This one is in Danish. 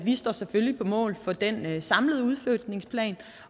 vi står selvfølgelig på mål for den samlede udflytningsplan